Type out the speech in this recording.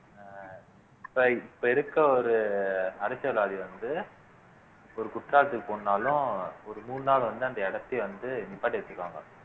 அஹ் இப்ப இப்ப இருக்க ஒரு அரசியல்வாதி வந்து ஒரு குற்றாலத்துக்கு போனாலும் ஒரு மூணு நாள் வந்து அந்த இடத்தையே வந்து நிப்பாட்டி வச்சுக்குவாங்க